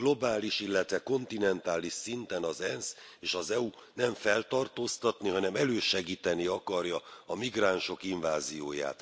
Globális, illetve kontinentális szinten az ENSZ és az EU nem feltartóztatni, hanem elősegíteni akarja a migránsok invázióját.